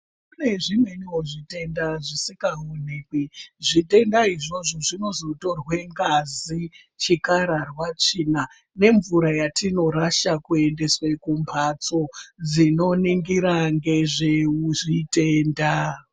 Kune zvimweniwo zvitenda zvisingaoneki zvitendawo izvozvo zvinozotorwa ngazi chikararwa tsvina nemvura yatinorasha kuendeswa kumbatso dzinoningira ngezvezvitenda.